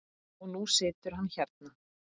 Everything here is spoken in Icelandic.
Og nú situr hann hérna.